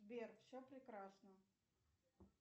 сбер все прекрасно